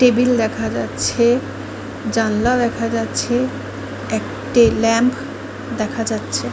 Table যাচ্ছে জানালা দেখা যাচ্ছে একটা ল্যাম্প দেখা যাচ্ছে ।